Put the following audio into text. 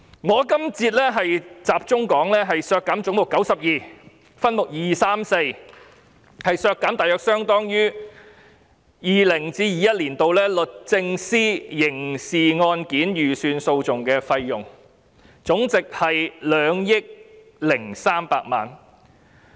我這節集中討論的是為削減分目234而將總目92削減大約相當於 2020-2021 年度律政司刑事案件預算訴訟費用，合計2億300萬元。